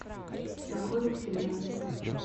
законы вселенной